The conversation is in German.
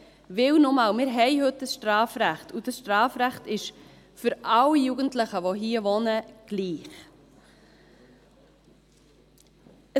Weil, nochmals: Wir haben heute ein Strafrecht, und dieses Strafrecht ist für alle Jugendlichen, die hier wohnen, gleich.